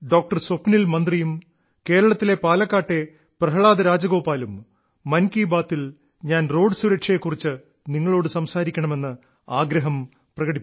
സ്വപ്നിൽ മന്ത്രിയും കേരളത്തിലെ പാലക്കാട്ടെ പ്രഹ്ലാദ രാജഗോപാലും മൻ കീ ബാത്തിൽ ഞാൻ റോഡ് സുരക്ഷയെ കുറിച്ച് നിങ്ങളോട് സംസാരിക്കണമെന്ന് ആഗ്രഹം പ്രകടിപ്പിച്ചിരുന്നു